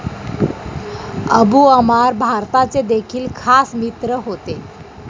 Abu Ammar भारताचे देखील खास मित्र होते.